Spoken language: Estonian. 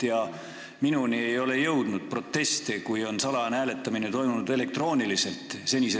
Minuni ei ole senise Riigikogu praktika puhul jõudnud proteste, kui salajane hääletamine on toimunud elektrooniliselt.